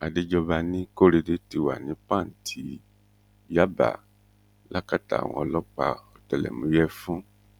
àdéjọba ní korede ti wà ní pàǹtí yaba lákàtà àwọn ọlọpàá ọtẹlẹmúyẹ fún